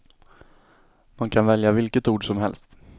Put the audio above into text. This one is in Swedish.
Man kan välja vilket ord som helst.